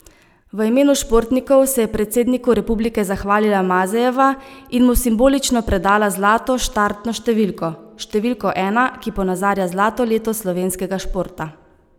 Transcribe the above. V imenu športnikov se je predsedniku republike zahvalila Mazejeva in mu simbolično predala zlato štartno številko, številko ena, ki ponazarja zlato leto slovenskega športa.